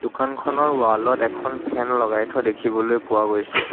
দোকানখনৰ ৱাল ত এখন ফেন লগাই থোৱা দেখিবলৈ পোৱা গৈছে।